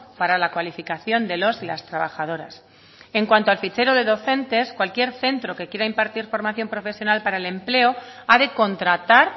para la cualificación de los y las trabajadoras en cuanto al fichero de docentes cualquier centro que quiera impartir formación profesional para el empleo ha de contratar